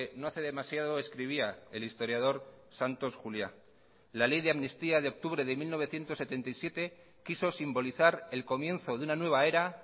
no hace demasiado escribía el historiador santos juliá la ley de amnistía de octubre de mil novecientos setenta y siete quiso simbolizar el comienzo de una nueva era